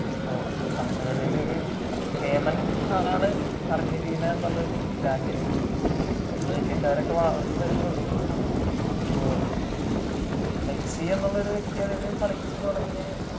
അതിപ്പോ പന്ത് കളിയിൽ കേമൻ ആള് അർജന്റീന എന്നുള്ളൊരു രാജ്യം നമ്മൾ ഇന്ത്യക്കാരൊക്കെ വളർന്നു വരുന്നേയുള്ളൂ അപ്പൊ മെസ്സി എന്നുള്ളൊരു വ്യക്തി അതിൽ കളിച്ചു തുടങ്ങിയത്